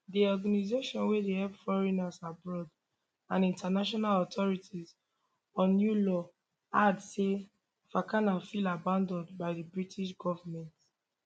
di organisation wey dey help foreigners abroad and international authority on uae law add say fakana feel abanAcceptedd by di british goment